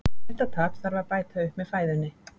þetta tap þarf að bæta upp með fæðunni